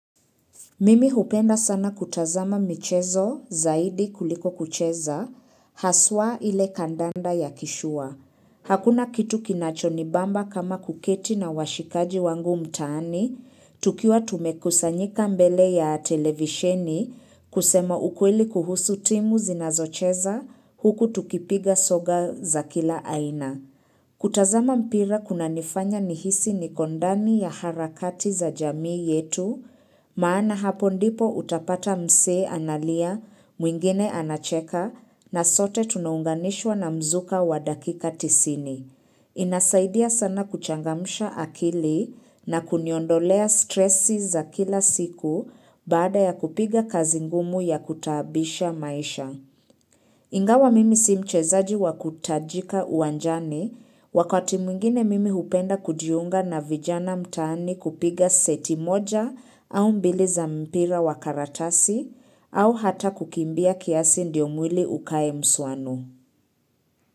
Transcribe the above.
Mimi hupenda sana kutazama michezo zaidi kuliko kucheza, haswa ile kandanda ya kishua. Hakuna kitu kinachonibamba kama kuketi na washikaji wangu mtaani, tukiwa tumekusanyika mbele ya televisheni kusema ukweli kuhusu timu zinazocheza huku tukipiga soga za kila aina. Kutazama mpira kunanifanya nihisi niko ndani ya harakati za jamii yetu, maana hapo ndipo utapata msee analia, mwingine anacheka, na sote tunaunganishwa na mzuka wa dakika tisini. Inasaidia sana kuchangamsha akili na kuniondolea stressi za kila siku baada ya kupiga kazi ngumu ya kutaabisha maisha. Ingawa mimi si mchezaji wa kutajika uwanjani wakati mwingine mimi hupenda kujiunga na vijana mtaani kupiga seti moja au mbili za mpira wa karatasi au hata kukimbia kiasi ndio mwili ukae msuano.